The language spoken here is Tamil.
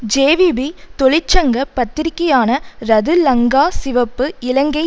ஜேவிபி தொழிற்சங்க பத்திரிகையான ரது லங்கா சிவப்பு இலங்கை